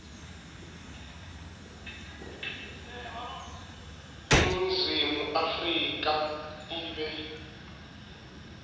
iningizimu afrika ibe